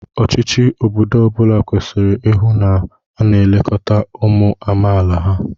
Ọchịchị obodo ọ bụla kwesịrị ịhụ na a na-elekọta ụmụ amaala ha